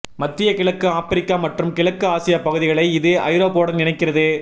மத்திய கிழக்கு ஆப்பிரிக்கா மற்றும் கிழக்கு ஆசியா பகுதிகளை இது ஐரோப்பாவுடன் இணைக்கிறது